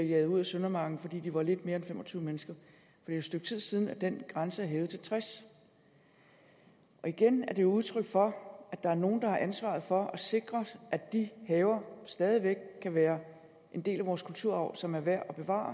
jaget ud af søndermarken fordi de var lidt mere end fem og tyve mennesker det er et stykke tid siden af den grænse er blevet hævet til tres igen er det udtryk for at der er nogle der har ansvaret for at sikre at de haver stadig væk kan være en del af vores kulturarv som er værd at bevare